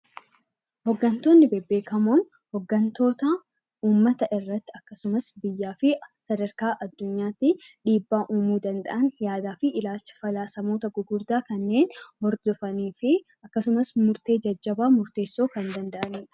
Hooggantoonni beekamoon hooggantoota uummata irratti akkasumas biyyaa fi sadarkaa addunyaatti dhiibbaa uumuu danda'anii fi ilaalcha falaasamoota gurguddaa kanneen hordofanii fi akkasumas murtee jajjabaa murteessuu kanneen danda'anidha